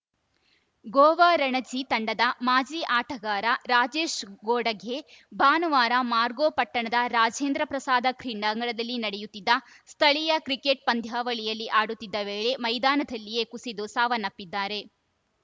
ಗೋವಾ ರಣಜಿ ತಂಡದ ಮಾಜಿ ಆಟಗಾರ ರಾಜೇಶ್‌ ಘೋಡಗೆ ಭಾನುವಾರ ಮಾರ್ಗೋ ಪಟ್ಟಣದ ರಾಜೇಂದ್ರ ಪ್ರಸಾದ ಕ್ರೀಡಾಂಗಣದಲ್ಲಿ ನಡೆಯುತ್ತಿದ್ದ ಸ್ಥಳೀಯ ಕ್ರಿಕೆಟ್‌ ಪಂದ್ಯಾವಳಿಯಲ್ಲಿ ಆಡತ್ತಿದ್ದ ವೇಳೆ ಮೈದಾನದಲ್ಲಿಯೇ ಕುಸಿದು ಸಾವನ್ನಪ್ಪಿದ್ದಾರೆ